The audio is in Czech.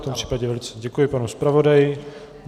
V tom případě velice děkuji panu zpravodaji.